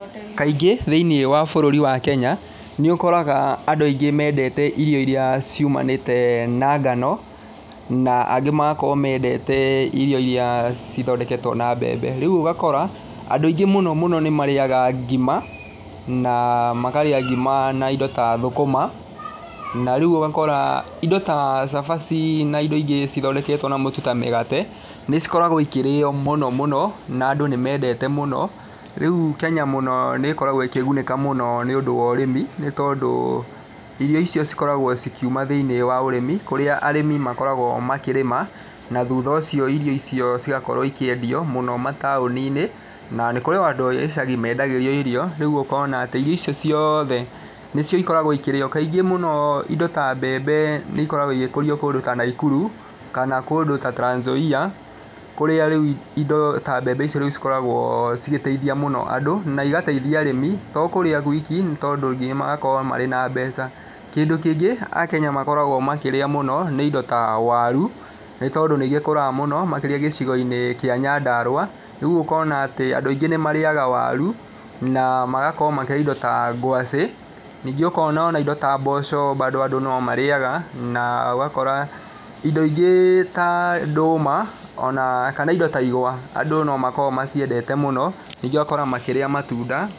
Kaingĩ thĩiniĩ wa bũrũri wa Kenya, nĩ ũkoraga andũ aingĩ mendete irio irĩa ciumanĩte na ngano, na angĩ magakorwo mendete irio irĩa cithondeketwo na mbembe. Rĩu ũgakora andũ aingĩ mũno mũno nĩ marĩaga ngima na makarĩa ngima na indo ta thũkũma. Na rĩu ũgakora indo ta cabaci na indo ingĩ cithondeketwo na mũtu ta mĩgate, nĩ cikoragwo ikĩrĩo mũno mũno, na andũ nĩ mendete mũno. Rĩu Kenya mũno nĩ ĩkoragwo ĩkĩgunĩka mũno nĩ ũndũ wa ũrĩmi nĩ tondũ irio icio cikoragwo cikiuma thĩiniĩ wa ũrĩmi, kũrĩa arĩmi makoragwo makĩrĩma. Na thutha ũcio irio icio cigakora ikĩendio mũno mataũni-inĩ, na nĩ kũrĩ o andũ a ĩcagi mendagĩrio irio. Rĩu ũkona atĩ irio icio ciothe nĩcio ikoragwo ikĩrĩo. Kaingĩ mũno indo ta mbembe nĩ ikoragwo igĩkũrio kũndũ ta Naikuru kana kũndũ ta Trans Nzoia, kũrĩa rĩu indo ta mbembe icio rĩu cikoragwo cigĩteithia mũno andũ na igateithia arĩmi, to kũrĩa gwiki nĩ tondũ nginya magakorwo marĩ na mbeca. Kĩndũ kĩngĩ akenya makoragwo makĩrĩa mũno nĩ indo ta waru, nĩ tondũ nĩ igĩkũraga mũno makĩria gĩcigo-inĩ kĩa Nyandarua. Rĩu ũkona atĩ andũ aingĩ nĩ marĩaga waru na magakorwo makĩrĩa indo ta ngwacĩ. Ningĩ ũkona indo ta mboco bado andũ no marĩaga, na ũgakora indo ingĩ ta ndũma ona kana indo ta igwa, andũ no makoragwo maciendete mũno. Ningĩ ũgakora makĩrĩa matunda...